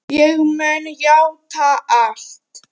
Ég mun játa allt.